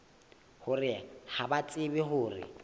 hore ha ba tsebe hore